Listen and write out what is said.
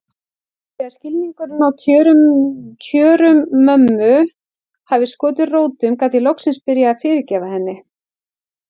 Þegar skilningurinn á kjörum mömmu hafði skotið rótum gat ég loksins byrjað að fyrirgefa henni.